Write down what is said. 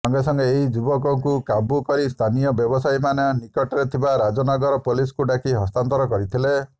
ସାଙ୍ଗେସାଙ୍ଗେ ଏହି ଯୁବକୁ କାବୁ କରି ସ୍ଥାନୀୟ ବ୍ୟବସାୟୀମାନେ ନିକଟରେ ଥିବା ରାଜନଗର ପୋଲିସକୁ ଡାକି ହସ୍ତାନ୍ତର କରିଥିଲେ